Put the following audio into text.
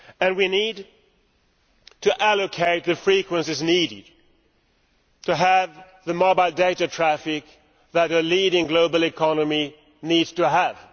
We need to allocate the frequencies needed to have the mobile data traffic that a leading global economy needs to have.